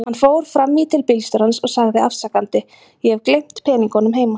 Hann fór fram í til bílstjórans og sagði afsakandi: Ég hef gleymt peningunum heima.